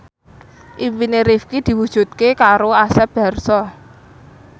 impine Rifqi diwujudke karo Asep Darso